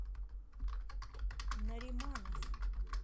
нариманов